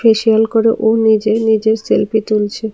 Facial করে ও নিজেই নিজের সেলফি তুলছে।